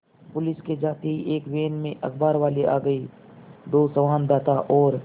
police के जाते ही एक वैन में अखबारवाले आ गए दो संवाददाता और